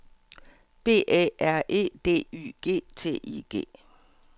B Æ R E D Y G T I G